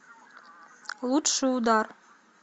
лучший удар